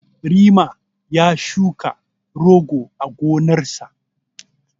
Rema ya shuka rogo a gonarsa.